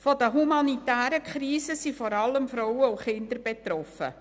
Von den humanitären Krisen sind vor allem Frauen und Kinder betroffen.